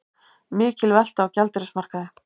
Mikil velta á gjaldeyrismarkaði